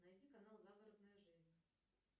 найди канал загородная жизнь